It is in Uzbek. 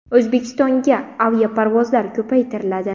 O‘zbekistonga aviaparvozlar ko‘paytiriladi.